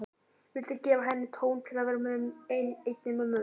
Vildi gefa henni tóm til að vera einni með mömmu.